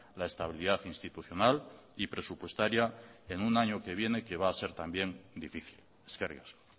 la estabilidad institucional y presupuestaria en un año que viene que va a ser también difícil eskerrik asko